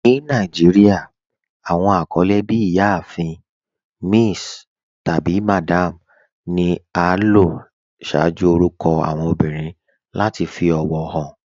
Ní Nàìjíríà, awọn akọlẹ bí "Ìyáàfin." "Miss," tabi "Madam" ni a lò ṣaaju orúkọ awọn obìrín lati fi ọwọ han.